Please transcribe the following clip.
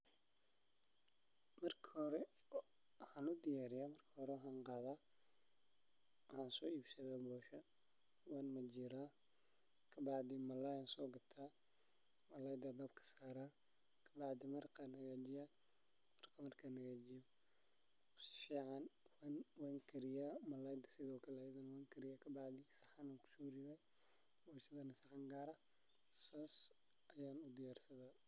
Marka hore , waxan udiyariyaa Marka hore , waxan qadaah waxaan so ibsadhaah bosha, wanmajiraah, kabacdhi Malay an sogataah , malayga an dabka Sarah, kabacdhi maraqa an hagajinaah, maraqa Markan hagajiyo, sifican wankariyaah, malayga sidhokale wankariyaah , kabacdhi saxan an kusoridhaah boshadana saxan gaar ah . sas ayaan udiyarsadaah